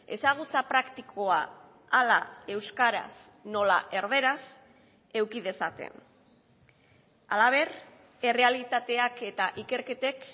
ezagutza praktikoa hala euskaraz nola erdaraz eduki dezaten halaber errealitateak eta ikerketek